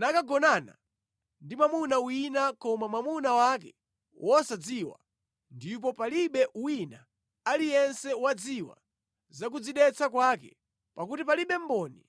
nakagonana ndi mwamuna wina koma mwamuna wake wosadziwa, ndipo palibe wina aliyense wadziwa za kudzidetsa kwake (pakuti palibe mboni